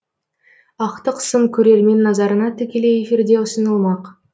ақтық сын көрермен назарына тікелей эфирде ұсынылмақ